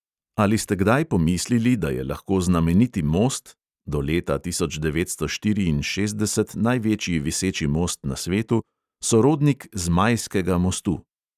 Ali ste kdaj pomislili, da je lahko znameniti most (do leta tisoč devetsto štiriinšestdeset največji viseči most na svetu) sorodnik zmajskega mostu?